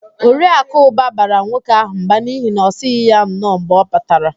Oriakụ Ụba bara nwoke ahụ mba n'ihi na ọ sịghị ya nnọọ mgbe ọ batara